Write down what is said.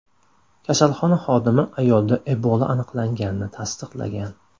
Kasalxona xodimi ayolda Ebola aniqlanganini tasdiqlagan.